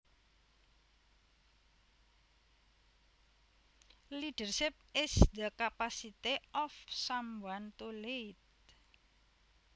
Leadership is the capacity of someone to lead